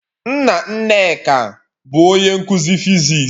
Nna Nneka bu onye nkuzi physics.